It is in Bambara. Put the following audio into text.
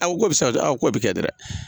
A ko bɛ se ka kɛ, a k'o bɛ kɛ dɛrɛ.